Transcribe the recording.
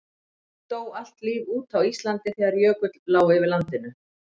dó allt líf út á íslandi þegar jökull lá yfir landinu